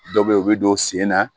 Dɔw bɛ yen u bɛ don sen na